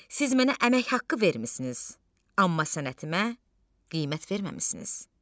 Siz mənə əmək haqqı vermisiniz, amma sənətimə qiymət verməmisiniz.